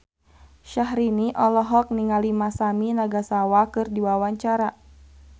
Syahrini olohok ningali Masami Nagasawa keur diwawancara